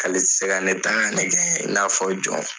K'ale ti se ka ne ta ka ne kɛ i n'a fɔ jɔn.